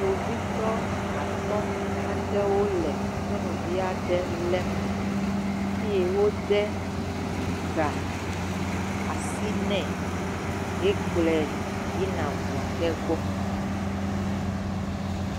Kpovitɔ atɔ̃ aɖewo le nyɔnuvi aɖe lém eye wode ga asi nɛ hekplɔe yina ŋu aɖe gbɔ.